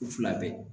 Fila bɛɛ